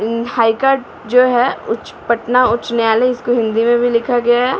High court जो है उच्च पटना उच्च न्यायालय इसको हिंदी में भी लिखा गया है।